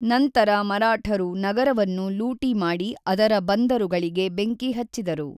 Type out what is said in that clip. ನಂತರ ಮರಾಠರು ನಗರವನ್ನು ಲೂಟಿ ಮಾಡಿ ಅದರ ಬಂದರುಗಳಿಗೆ ಬೆಂಕಿ ಹಚ್ಚಿದರು.